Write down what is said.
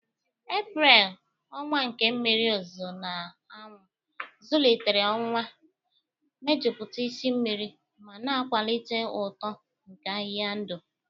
Eprel, ọnwa nke mmiri ozuzo na anwụ, zụlitere ụwa, mejupụta isi mmiri ma na-akwalite uto nke ahịhịa ndụ